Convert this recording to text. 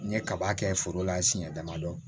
N ye kaba kɛ foro la siɲɛ damadɔ